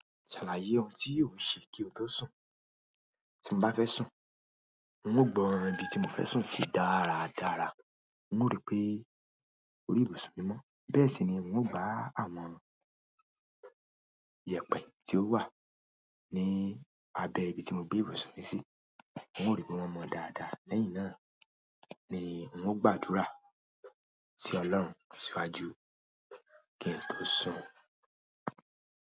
Ṣàlàyé ohun tí o ṣe kí o tó sùn. Tí n bá fẹ́ sùn, n ó gbọ́n orí ibi tí mo fẹ́ sùn sí dáradára, n ó rí pé orí ìbusun mi mọ́, bẹ́ẹ̀ sì ni n ó gbá àwọn iyẹ̀pẹ tí ó wà ní abẹ́ ibi tí mo bí ìbusun mi sí, n ó rí pé wọ́n mọn dáadáa, lẹ́yìn náà ni n ó gbàdúrà sí Ọlọ́run síwájú kí n tó sùn.